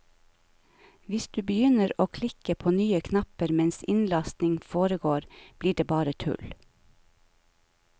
Hvis du begynner å klikke på nye knapper mens innlasting foregår blir det bare tull.